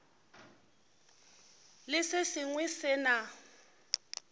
le se sengwe se na